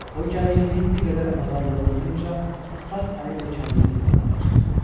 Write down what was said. O gərginliyin bir qədər azaldığını duyunca sağ əli ilə kəndiri yığmağa başladı.